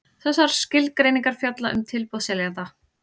Þessar skilgreiningar fjalla um tilboð seljanda.